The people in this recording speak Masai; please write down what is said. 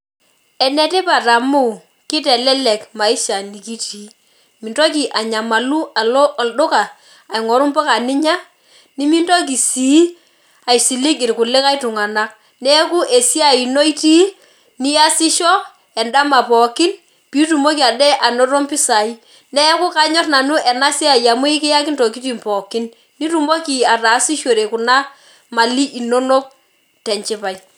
Enetipat amu, kitelelek maisha nikitii. Mintoki anyamalu alo olduka aing'oru mpuka ninya, nimitoki si aisilig irkulikae tung'anak. Neeku esiai ino itii, niasisho edama pookin, pitumoki ade anoto mpisai. Neeku kanyor nanu enasiai amu ekiyaki ntokiting pookin. Pitumoki ataasishore kuna mali inonok tenchipae.